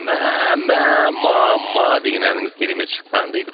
мә мә ма ма деген әніңіз керемет шыққан дейді